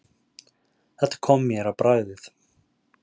Þetta kom mér á bragðið.